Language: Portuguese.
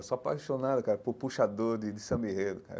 Eu sou apaixonado, cara, por puxador de de samba enredo cara